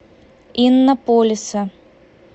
иннополиса